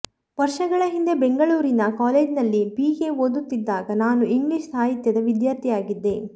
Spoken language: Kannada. ವರ್ಷಗಳ ಹಿಂದೆ ಬೆಂಗಳೂರಿನ ಕಾಲೇಜ್ನಲ್ಲಿ ಬಿ ಎ ಓದುತ್ತಿದ್ದಾಗ ನಾನು ಇಂಗ್ಲಿಷ್ ಸಾಹಿತ್ಯದ ವಿದ್ಯಾರ್ಥಿಯಾಗಿದ್ದೆ